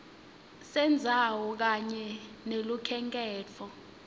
sendzawo kanye nelukhenkhetfo